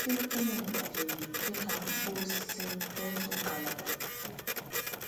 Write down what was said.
Osisi paịn gbajiri dị ka mkpọ osisi n’otu ngalaba.